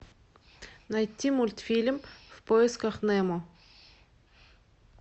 найти мультфильм в поисках немо